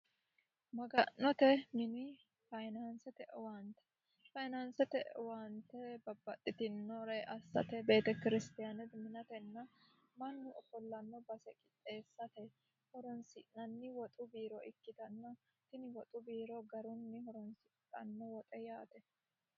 Maga'note minni fayinansete owonte fayinansete owaante babaxinore asate betekiristaanete mi'natenna munnu ofolano base qixeesate horoonsi'nanni woxu biiro ikitanna tinni woxu biiro garunni horoonsidhano woxe yaate.